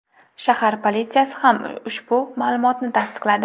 Shahar politsiyasi ham ushbu ma’lumotni tasdiqladi.